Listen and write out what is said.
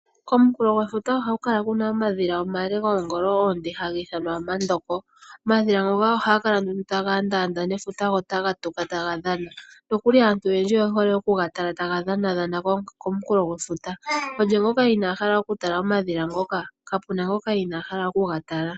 Komunkulo gwefuta oha ku kala ku na omadhila omale goongolo oonde haga ithwana omandombo. Omadhila ngoka oha kala nduno taga ndanda nefuta go taga tuka taga dhana. Nokuli aantu oyendji oye hole oku ga tala taga dhana dhana komunkulo gwefuta. Olye ngoka ina hala oku tala omadhila ngoka? Kapuna ngoka ina hala oku ga tala.